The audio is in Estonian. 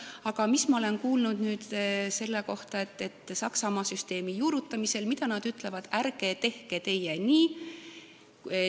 Aga mida ma olen kuulnud Saksamaa süsteemi juurutamise kohta sellist, mille kohta nad ise ütlevad, et ärge teie tehke nii?